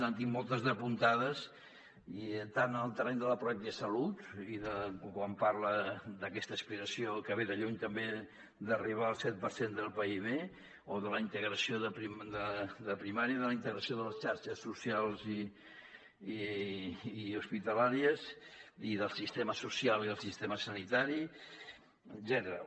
en tinc moltes d’apuntades tant en el terreny de la salut quan parla d’aquesta aspiració que ve de lluny també d’arribar al set per cent del pib o de la primària i de la integració de les xarxes socials i hospitalàries o del sistema social i el sistema sanitari etcètera